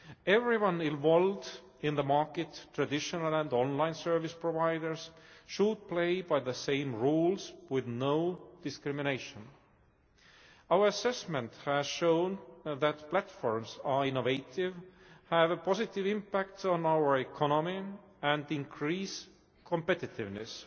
Everyone involved in the market traditional and online service providers should play by the same rules, with no discrimination. Our assessment has shown that platforms are innovative, have a positive impact on our economy, and increase competitiveness.